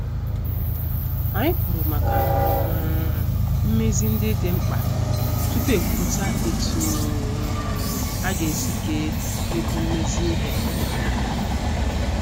Anyị kwuru maka um mmezi ndị dị mkpa tupu ekwupụta etu um aga- esi kee ego mmezi ihe.